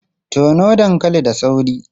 Tono dankali da sauri!